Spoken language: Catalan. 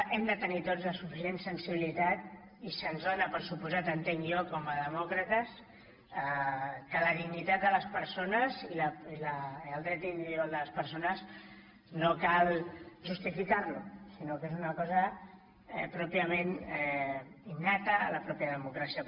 hem de tenir tots la suficient sensibilitat i se’ns dóna per descomptat entenc jo com a demòcrates que la dignitat de les persones i el dret individual de les persones no cal justificar ho sinó que és una cosa pròpiament innata a la pròpia democràcia